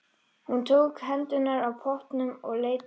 Hún tók hendurnar af pottunum og leit til mín.